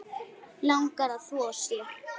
Langar að þvo sér.